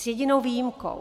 S jedinou výjimkou.